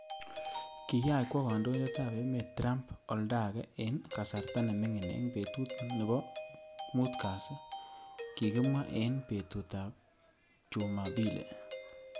Kiyach kwoo kandoindet ap emet Trump oldagee ing kasarta nemining eng petut nopo mut kasi , kikimwaa ing petut apjuma pili.